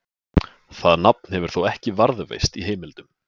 Það nafn hefur þó ekki varðveist í heimildum.